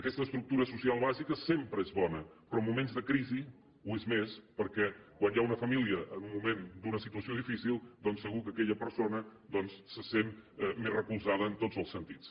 aquesta estructura social bàsica sempre és bona però en moments de crisi ho és més perquè quan hi ha una família en un moment d’una situació difícil doncs segur que aquella persona doncs se sent més recolzada en tots els sentits